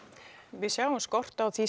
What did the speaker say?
við sjáum skort á því